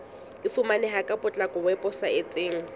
e fumaneha ka potlako weposaeteng